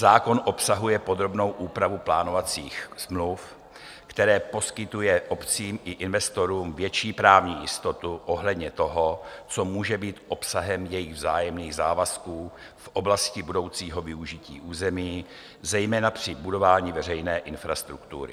Zákon obsahuje podrobnou úpravu plánovacích smluv, která poskytuje obcím i investorům větší právní jistotu ohledně toho, co může být obsahem jejich vzájemných závazků v oblasti budoucího využití území, zejména při budování veřejné infrastruktury.